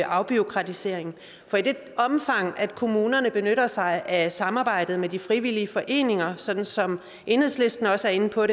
afbureaukratisering for i det omfang at kommunerne benytter sig af samarbejdet med de frivillige foreninger sådan som enhedslisten også er inde på